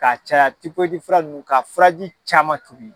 Ka caya fura nunnu ka furaji caman tobi.